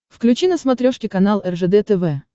включи на смотрешке канал ржд тв